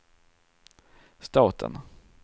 staten